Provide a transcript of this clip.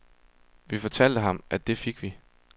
Vi fortalte ham, at det fik vi.